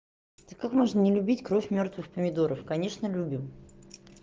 ты как можно не любить кровь мёртвых помидоров конечно любим